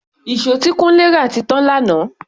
Ìṣó tí Kunle rà ti tán lánàá.